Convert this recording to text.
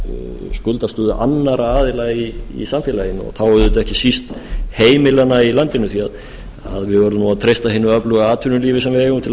af skuldastöðu annarra aðila í samfélaginu og þá auðvitað ekki síst heimilanna í landinu því að við verðum að treysta hinu öfluga atvinnulífi sem við eigum til að